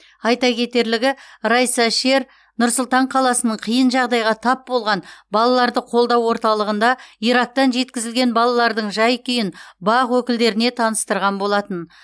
айта кетерлігі райса шер нұр сұлтан қаласының қиын жағдайға тап болған балаларды қолдау орталығында ирактан жеткізілген балалардың жай күйін бақ өкілдеріне таныстырған болатын